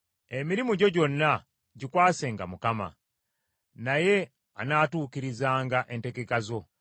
Emirimu gyo gyonna gikwasenga Mukama , naye anaatuukirizanga entegeka zo.